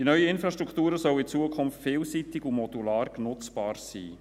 Die neuen Infrastrukturen sollen in Zukunft vielseitig und modular nutzbar sein.